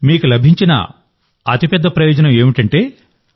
మీకు లభించిన అతిపెద్ద ప్రయోజనం ఏమిటంటే